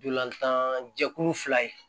Ntolantan jɛkulu fila ye